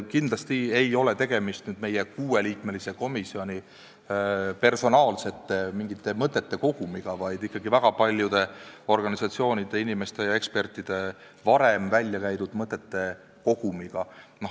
Kindlasti ei ole tegemist meie kuueliikmelise komisjoni personaalsete mõtete kogumiga, vaid ikkagi väga paljude organisatsioonide, inimeste ja ekspertide varem väljakäidud mõtete kogumiga.